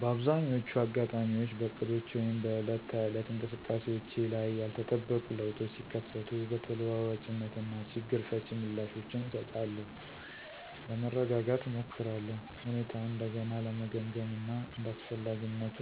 በአብዛኛዎቹ አጋጣሚዎች በእቅዶቼ ወይም በዕለት ተዕለት እንቅስቃሴዎቼ ላይ ያልተጠበቁ ለውጦች ሲከሰቱ በተለዋዋጭነት እና ችግር ፈቺ ምላሾችን እሰጣለሁ። ለመረጋጋት እሞክራለሁ፣ ሁኔታውን እንደገና ለመገምገም እና እንደ አስፈላጊነቱ